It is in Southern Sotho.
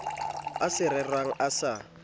e sa rerwang a sa